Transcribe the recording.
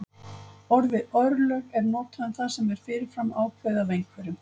orðið örlög er notað um það sem er fyrir fram ákveðið af einhverjum